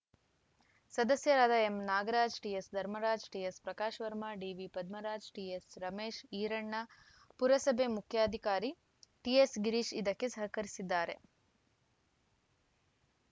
ಸದಸ್ಯರಾದ ಎಂನಾಗರಾಜ್‌ ಟಿಎಸ್‌ಧರ್ಮರಾಜ್‌ ಟಿಎಸ್‌ಪ್ರಕಾಶ್‌ ವರ್ಮ ಡಿವಿಪದ್ಮರಾಜು ಟಿಎಸ್‌ರಮೇಶ್‌ ಈರಣ್ಣ ಪುರಸಭೆ ಮುಖ್ಯಾಧಿಕಾರಿ ಟಿಎಸ್‌ಗಿರೀಶ್‌ ಇದಕ್ಕೆ ಸಹಕರಿಸಿದ್ದಾರೆ